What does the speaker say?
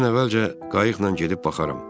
Mən əvvəlcə qayıqla gedib baxaram.